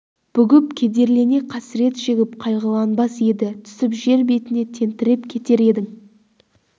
бүгіп кедерлене қасірет шегіп қайғыланбас еді түсіп жер түбіне тентіреп кетер едің